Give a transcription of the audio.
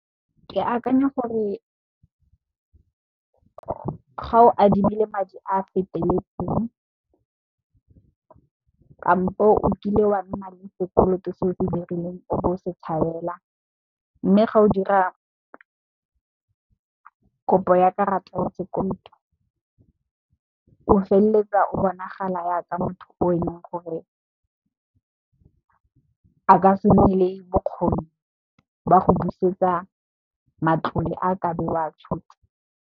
Ke akanya gore ga o adimile madi a a feteletseng, kampo o kile wa nna le sekoloto se o se dirileng o bo o se tshabela mme, ga o dira kopo ya karata ya sekoloto o feleletsa o bonagala ya ka motho o eleng gore a ka se nne le bokgoni ba go busetsa matlole a ka be o wa tshotse.